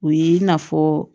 O ye i n'a fɔ